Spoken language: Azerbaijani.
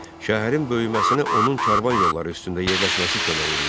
Şəhərin böyüməsinə onun karvan yolları üstündə yerləşməsi kömək eləyirdi.